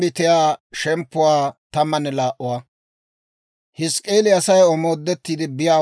Med'inaa Godaa k'aalay taakko hawaadan yaagiidde yeedda;